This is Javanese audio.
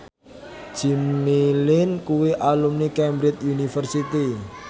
Jimmy Lin kuwi alumni Cambridge University